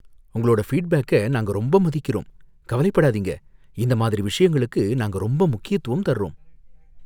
உங்களோட ஃபீட்பேக்க நாங்க ரொம்ப மதிக்கிறோம், கவலைப்படாதீங்க, இந்த மாதிரி விஷயங்களுக்கு நாங்க ரொம்ப முக்கியத்துவம் தர்றோம்.